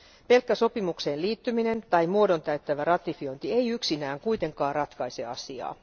Pelkkä sopimukseen liittyminen tai muodon täyttävä ratifiointi ei yksinään kuitenkaan ratkaise asiaa.